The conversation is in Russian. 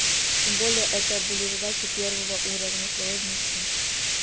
тем более это были задачи первого уровня сложности